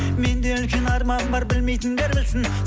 менде үлкен арман бар білмейтіндер білсін